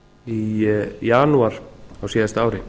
í janúar á síðasta ári